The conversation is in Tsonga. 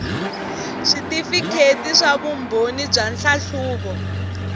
switifikheti swa vumbhoni bya nhlahluvo